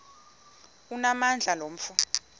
onamandla lo mfo